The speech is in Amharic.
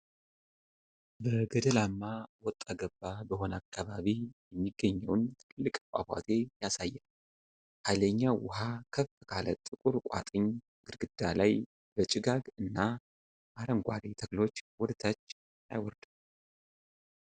በገደልማ ወጣ ገባ በሆነ አካባቢ የሚገኘውን ትልቅ ፏፏቴ ያሳያል፤ ኃይለኛው ውሃ ከፍ ካለ ጥቁር ቋጥኝ ግድግዳ ላይ በጭጋግ እና አረንጓዴ ተክሎች ወደታች አይወርድም?